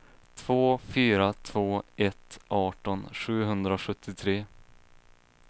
två fyra två ett arton sjuhundrasjuttiotre